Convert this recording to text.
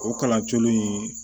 O kalan colu in